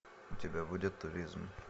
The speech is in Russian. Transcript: у тебя будет туризм